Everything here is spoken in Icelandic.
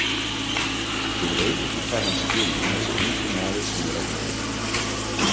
Ég veit ekki hvað hann skilur, þessi ungi maður sem ég ræddi við.